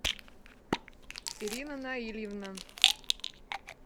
ирина наильевна